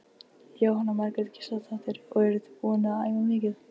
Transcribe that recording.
Jóhanna Margrét Gísladóttir: Og eruð þið búin að æfa mikið?